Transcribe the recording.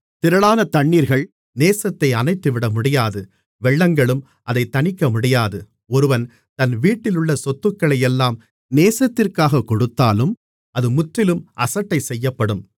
திரளான தண்ணீர்கள் நேசத்தை அணைத்துவிட முடியாது வெள்ளங்களும் அதைத் தணிக்கமுடியாது ஒருவன் தன் வீட்டிலுள்ள சொத்துக்களையெல்லாம் நேசத்திற்காகக் கொடுத்தாலும் அது முற்றிலும் அசட்டைசெய்யப்படும் மணவாளியின் சகோதரன்